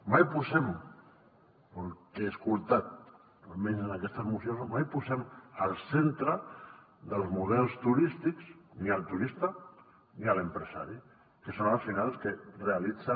mai posem pel que he escoltat almenys en aquestes mocions al centre dels models turístics ni el turista ni l’empresari que són al final els que realitzen